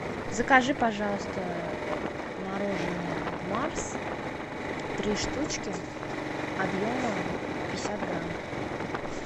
закажи пожалуйста мороженое марс три штучки объемом пятьдесят грамм